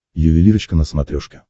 ювелирочка на смотрешке